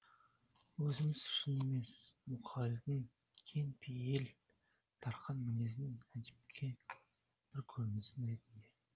өзіміз үшін емес мұқағалидің кең пейіл дарқан мінезінің әдепкі бір көрінісі ретінде